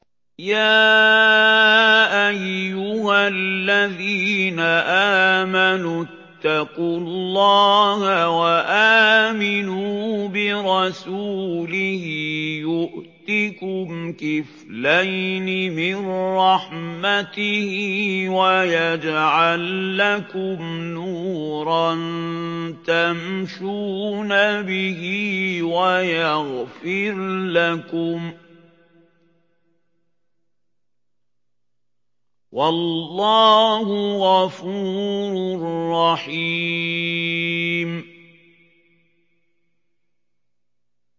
يَا أَيُّهَا الَّذِينَ آمَنُوا اتَّقُوا اللَّهَ وَآمِنُوا بِرَسُولِهِ يُؤْتِكُمْ كِفْلَيْنِ مِن رَّحْمَتِهِ وَيَجْعَل لَّكُمْ نُورًا تَمْشُونَ بِهِ وَيَغْفِرْ لَكُمْ ۚ وَاللَّهُ غَفُورٌ رَّحِيمٌ